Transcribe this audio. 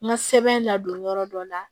N ka sɛbɛn ladon yɔrɔ dɔ la